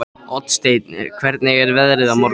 Oddsteinn, hvernig er veðrið á morgun?